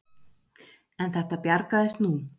En þetta bjargaðist nú.